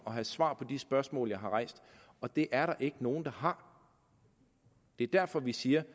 og have svar på de spørgsmål jeg har rejst og det er der ikke nogen der har det er derfor vi siger